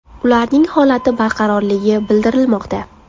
Ularning holati barqarorligi bildirilmoqda.